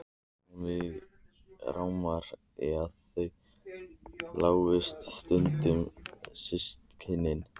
Og mig rámar í að þau slógust stundum systkinin.